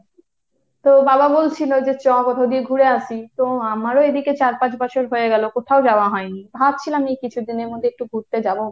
তো বাবা বলছিল যে চ কোথাও দিয়ে ঘুরে আস্‌ তো আমারও এদিকে চার পাঁচ বছর হয়ে গেল কোথাও যাওয়া হয়নি। ভাবছিলাম এই কিছুদিনের মধ্যে একটু ঘুরতে যাব।